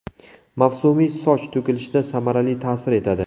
Mavsumiy soch to‘kilishida samarali ta’sir etadi.